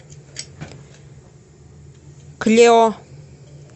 клео